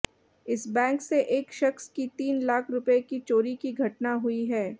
इस बैंक से एक शख्स की तीन लाख रुपये की चोरी की घटना हुई है